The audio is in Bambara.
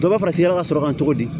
Dɔ bɛ farafinna ka sɔrɔ ka togo di